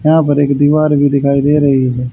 यहां पर एक दीवार भी दिखाई दे रही है।